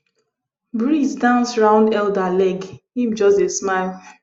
breeze dance round elder leg him just smile